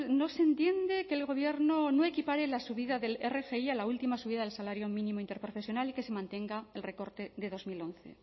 no se entiende que el gobierno no equipare la subida del rgi a la última subida del salario mínimo interprofesional y que se mantenga el recorte de dos mil once